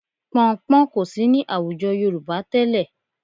Pọnnpọ́n kò sí ní àwùjọ Yorùbá tẹ́lẹ̀